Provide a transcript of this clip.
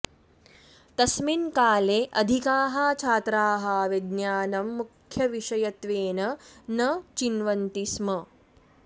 तस्मिन् काले अधिकाः छात्राः विज्ञानं मुख्यविषयत्वेन न चिन्वन्ति स्म